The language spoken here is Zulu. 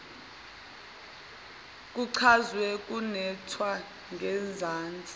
kuchazwe kwenatshwa ngezansi